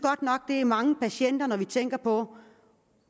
det er mange patienter når vi tænker på